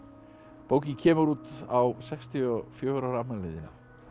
bókin kemur út á sextíu og fjögurra ára afmælinu þínu það